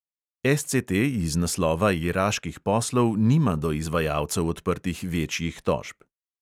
SCT iz naslova iraških poslov nima do izvajalcev odprtih večjih tožb.